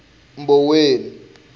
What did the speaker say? mboweni